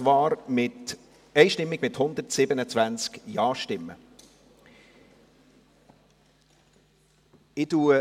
Sie haben dies einstimmig, mit 127 Ja-Stimmen, angenommen.